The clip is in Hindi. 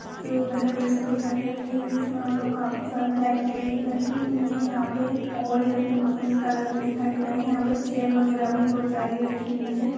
एक घर जैसा दिखाई दे रहा है इसमें का मतलब काफी सारी लाइट लगी हुई है यहां और यह पिंक पिंक कलर में दिखाई दे रहा है यहां पर चेयर वगैरह भी बहुत सारी रखी हुई है।